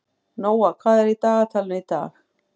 Nóa, hvað er í dagatalinu í dag?